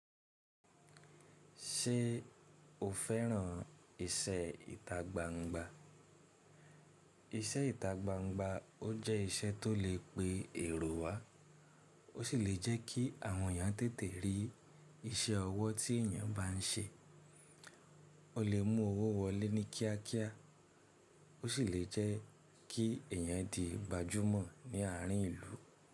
Ṣé o féràn ìṣe ìtagbangba? Ìṣe ìtagbangba ó jẹ́ ìṣe tó lè pe èrò wá, ó sì lè jẹ́ kí àwọn èèyàn tètè rí iṣẹ́ ọwọ́ tí èèyàn bá n ṣe. O lè mú owó wọlé ní kíá kíá, ó sì lè jẹ́ kí èèyàn di gbajúmọ̀ ní àárín ìlú.